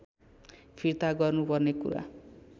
फिर्ता गर्नुपर्ने कुरा